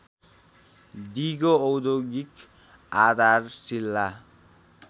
दिगो औद्योगिक आधारशीला